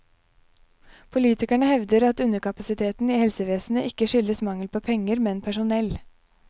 Politikerne hevder at underkapasiteten i helsevesenet ikke skyldes mangel på penger, men personell.